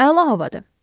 Əla havadır.